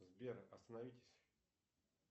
сбер остановитесь